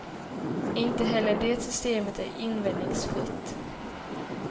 Inte heller det systemet är invändningsfritt.